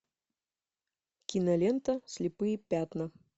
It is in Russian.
кинолента слепые пятна